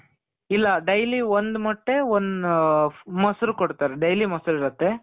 ಇಲ್ಲ daily ಒಂದು ಮೊಟ್ಟೆ, ಒನ್ ಮೊಸರು ಕೊಡ್ತಾರೆ. daily ಮೊಸರು ಇರುತ್ತೆ.